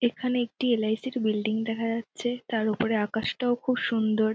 এখানে একটি এল.আই.সি. -র বিল্ডিং দেখা যাচ্ছে তার ওপরে আকাশটাও খুব সুন্দর।